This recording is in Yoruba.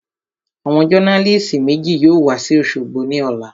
Àwọn jọ́nálìsì méjì yóò wa sí òṣogbo ní ọ̀la